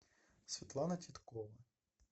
светлана титкова